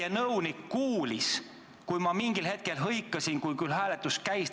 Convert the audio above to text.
Teie nõunik kuulis, et ma mingil hetkel hõikasin, kui hääletus käis.